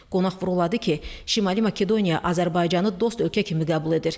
Qonaq vurğuladı ki, Şimali Makedoniya Azərbaycanı dost ölkə kimi qəbul edir.